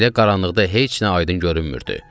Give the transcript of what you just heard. Belə qaranlıqda heç nə aydın görünmürdü.